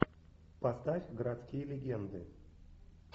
поставь городские легенды